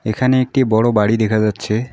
এখানে একটি বড় বাড়ি দেখা যাচ্ছে।